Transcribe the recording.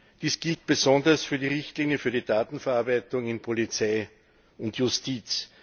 Dies gilt besonders für die Richtlinie für die Datenverarbeitung bei Polizei und Justiz.